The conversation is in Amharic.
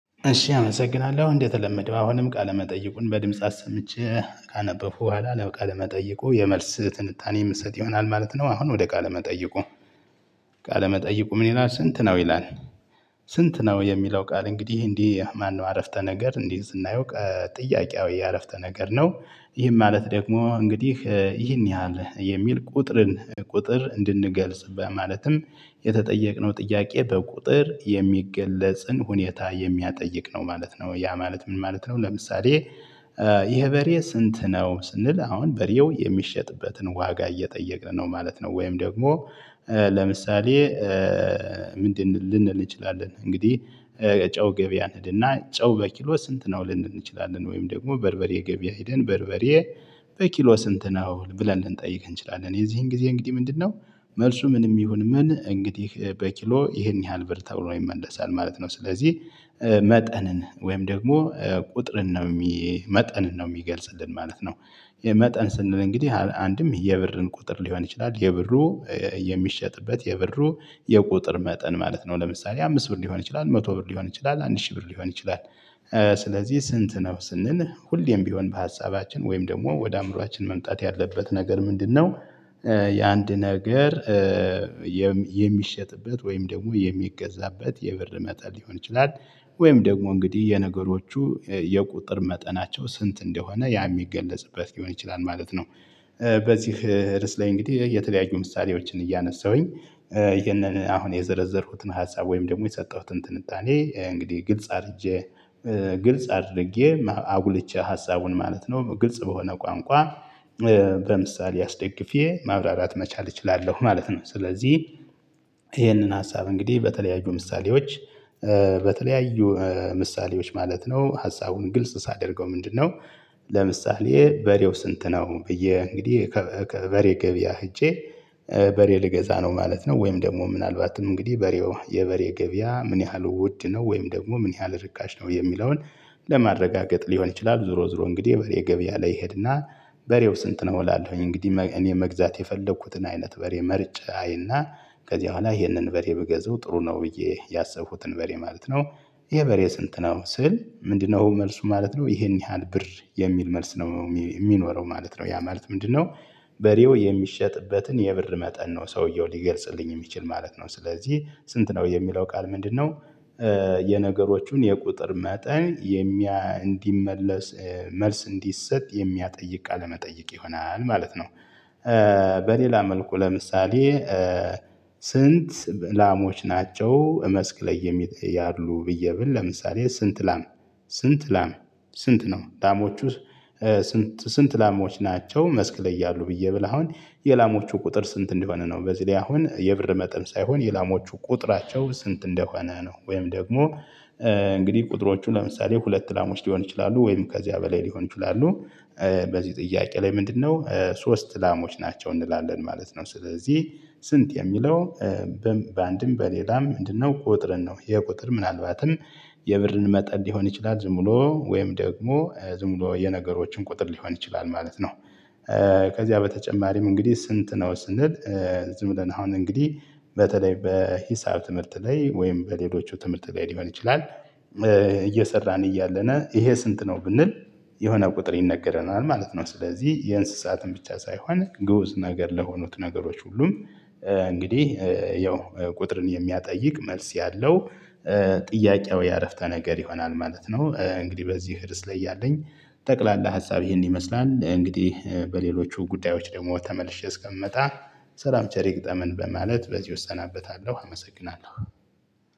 እሺ አመሰግናለሁ እንደተለመደው አሁንም ቃለመጠይቁን በድምጽ አሰምቼ ካነበብበሁ በኋላ ለቃለ መጠይቁ የመልስ ትንታኔ ምሰጥ ይሆናል ማለት ነው። አሁን ወደ ቃለ መጠይቁ ቃለ መጠይቁ ምን ይላል ስንት ነው? ይላል። ስንት ነው የሚለው ቃል እንግዲህ እንዲህ ማነው አረፍተ ነገር እንዲህ ዝና ጥያቄያዊ የአረፍተ ነገር ነው። ይህን ማለት ደግሞ እንግዲህ ይህን ያህል የሚል ቁጥርን ቁጥር እንድንገልጽ በማለትም የተጠየቅነው ጥያቄ በቁጥር የሚገለጽን ሁኔታ የሚያጠይቅ ነው ማለት ነው። ያ ማለት ምን ማለት ነው ለምሳሌ። ይሄ በሬ ስንት ነው ስንል አሁን በሬው የሚሸጥበትን ዋጋ እየጠየቅን ነው ማለት ነው። ወይም ደግሞ ለምሳሌ። ምንድን ልንል እንችላለን እንግዲህ ጨው ገበያ እንሄድና ጨው በኪሎ ስንት ነው ልንችላለን ወይም ደግሞ በርበሬ ገበያ ሄደን በርበሬ በኪሎ ስንት ነው ብለን ልንጠይቅ እንችላለን። የዚህን ጊዜ እንግዲህ ምንድነው መልሱ ምንም ይሁን ምን እንግዲህ በኪሎ ይሄን ያህል ብር ተብሎ ይመለሳል ማለት ነው። ስለዚህ መጠንን ወይም ደግሞ ቁጥርን ነው የሚ መጠንን ነው የሚገልጽልን ማለት ነው። የመጠን ስንል እንግዲህ አንድም የብርን ቁጥር ሊሆን ይችላል የብሩ የሚሸጥበት የብሩ የቁጥር መጠን ማለት ነው። ለምሳሌ አምስት ብር ሊሆን ይችላል መቶ ብር ሊሆን ይችላል አንድ ሺህ ብር ሊሆን ይችላል። ስለዚህ ስንት ነው ስንል ሁሌም ቢሆን በሀሳባችን ወይም ደግሞ ወደ አእምሮአችን መምጣት ያለበት ነገር ምንድነው? የአንድ ነገር የሚሸጥበት ወይም ደግሞ የሚገዛበት የብር መጠን ሊሆን ይችላል። ወይም ደግሞ እንግዲህ የነገሮቹ የቁጥር መጠናቸው ስንት እንደሆነ ያ የሚገለጽበት ሊሆን ይችላል ማለት ነው። በዚህ ርስ ላይ እንግዲህ የተለያዩ ምሳሌዎችን እያነሳሁኝ። ይሄንን አሁን የዘረዘርኩትን ሀሳብ ወይም ደግሞ የሰጠሁትን ትንጣኔ እንግዲህ ግልጽ አድርጄ። ግልጽ አድርጌ አጉልቼ ሀሳቡን ማለት ነው ግልጽ በሆነ ቋንቋ በምሳሌ አስደግፌ ማብራራት መቻል እችላለሁ ማለት ነው። ስለዚህ ይሄንን ሀሳብ እንግዲህ በተለያዩ ምሳሌዎች። በተለያዩ ምሳሌዎች ማለት ነው ሀሳቡን ግልጽ ሳደርገው ምንድነ? ለምሳሌ በሬው ስንት ነው? ብዬ እንግዲህ በሬ ገብያ ሄጄ በሬ ልገዛ ነው ማለት ነው። ወይም ደግሞ ምናልባትም እንግዲህ በሬው የበሬ ገቢያ ምን ያህል ውድ ነው ወይም ደግሞ ምን ያህል ርካሽ ነው የሚለውን። ለማረጋገጥ ሊሆን ይችላል ዝሮ ዝሮ እንግዲህ የበሬ ገቢያ ላይ እሄድና። በሬው ስንት ነው እላለሁኝ እንግዲህ እኔ መግዛት የፈለኩትን አይነት በሬ መርጨ አይና ከዚህ በኋላ ይህንን በሬ ብገዛው ጥሩ ነው ብዬ ያሰብኩትን በሬ ማለት ነው። ይሄ በሬ ስንት ነው ስል ምንድነው መልሱ ማለት ነው ይሄን ያህል ብር የሚል መልስ ነው የሚኖረው ማለት ነው ያ ማለት ምንድነው? በሬው የሚሸጥበትን የብር መጠን ነው ሰውየው ሊገልጽልኝ የሚችል ማለት ነው። ስለዚህ ስንት ነው የሚለው ቃል ምንድነው? የነገሮቹን የቁጥር መጠን እንዲመለስ መልስ እንዲሰጥ የሚያጠይቅ ቃለ መጠየቅ ይሆናል ማለት ነው። በሌላ መልኩ ለምሳሌ። ስንት ላሞች ናቸው መስክ ላይ የሚጠይ አሉ ብዬ ብል ለምሳሌ ስንት ላም ስንት ላም ስንት ነው ላሞቹ። ስንት ስንት ላሞች ናቸው መስክ ላይ እያሉ ብዬ ብለው አሁን የላሞቹ ቁጥር ስንት እንዲሆን ነው በዚህ ላይ አሁን የብር መጠን ሳይሆን የላሞቹ ቁጥራቸው ስንት እንደሆነ ነው ወይም ደግሞ እንግዲህ ቁጥሮቹ ለምሳሌ ሁለት ላሞች ሊሆን ይችላሉ ወይም ከዚያ በላይ ሊሆን ይችላሉ። በዚህ ጥያቄ ላይ ምንድነው ሶስት ላሞች ናቸው እንላለን ማለት ነው። ስለዚህ ስንት የሚለው በአንድም በሌላም ምንድነው ቁጥርን ነው የቁጥር ምናልባትም የብርን መጠን ሊሆን ይችላል ዝም ብሎ ወይም ደግሞ ዝም ብሎ የነገሮችን ቁጥር ሊሆን ይችላል ማለት ነው። ከዚያ በተጨማሪም እንግዲህ ስንት ነው ስንል ዝም ብለን አሁን እንግዲህ በተለይ በሂሳብ ትምህርት ላይ ወይም በሌሎቹ ትምህርት ላይ ሊሆን ይችላል። እየሰራን እያለን ይሄ ስንት ነው ብንል የሆነ ቁጥር ይነገረናል ማለት ነው። ስለዚህ የእንስሳትን ብቻ ሳይሆን ግዑዝ ነገር ለሆኑት ነገሮች ሁሉም እንግዲህ ያው ቁጥርን የሚያጠይቅ መልስ ያለው ጥያቄያዊ አረፍተ ነገር ይሆናል ማለት ነው። እንግዲህ በዚህ ርዕስ ላይ እያለኝ ጠቅላላ ሀሳብ ይሄን ይመስላል እንግዲህ በሌሎቹ ጉዳዮች ደግሞ ተመልሼ እስከምመጣ። ሰላም ቸር ይግጠመን በማለት በዚሁ እሰናበታለሁ አመሰግናለሁ።